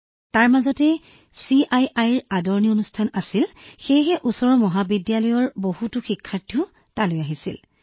লগতে ইতিমধ্যে চিআইআই স্বাগতম অনুষ্ঠান হৈছিল ওচৰৰ মহাবিদ্যালয়ৰ বহুতো শিক্ষাৰ্থীও তালৈ আহিছিল